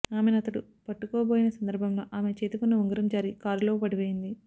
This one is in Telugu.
ఆమెను అతడు పట్టుకోబోయిన సందర్భంలో ఆమె చేతికున్న ఉంగరం జారి కారులో పడిపోయింది